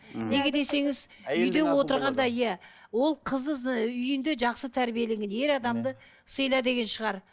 неге десеңіз үйде отырғанда иә ол қыз үйінде жақсы тәрбиеленген ер адамды сыйла деген шығар